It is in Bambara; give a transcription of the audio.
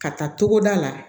Ka taa togoda la